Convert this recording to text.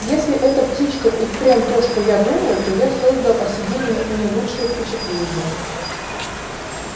если эта птичка и впрямь то что я думаю то я создал о себе не лучшее впечатление